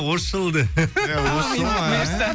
осы жылы де